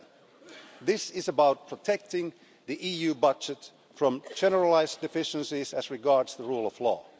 7. This is about protecting the EU budget from generalised deficiencies as regards the rule of law.